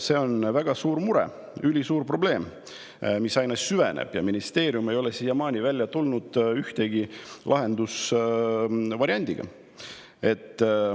See on väga suur mure, ülisuur probleem, mis aina süveneb, aga ministeerium ei ole siiamaani välja tulnud ühegi lahendusvariandiga.